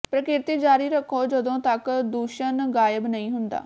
ਪ੍ਰਕਿਰਤੀ ਜਾਰੀ ਰੱਖੋ ਜਦੋਂ ਤੱਕ ਦੂਸ਼ਣ ਗਾਇਬ ਨਹੀਂ ਹੁੰਦਾ